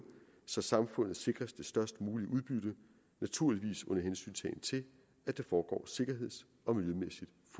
så samfundet sikres det størst mulige udbytte naturligvis under hensyntagen til at det foregår sikkerheds